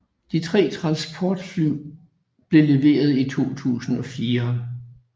De 3 transportfly blev leveret i 2004